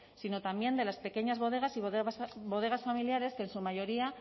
sino también de las pequeñas bodegas y bodegas familiares que en su mayoría